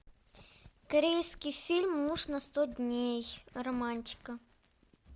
корейский фильм муж на сто дней романтика